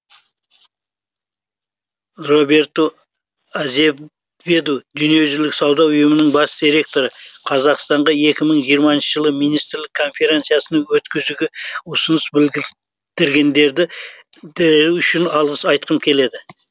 роберту азеведу дүниежүзілік сауда ұйымының бас директоры қазақстанға екі мың жиырмасыншы жылы министрлік конференцияны өткізуге ұсыныс білдіргендері үшін алғыс айтқым келеді